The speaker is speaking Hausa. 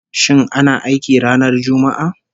Shin ana aiki ranar Juma'a?